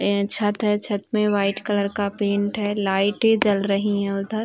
एं छत है छत में वाइट कलर का पेंट है। लाइटें जल रहीं हैं उधर।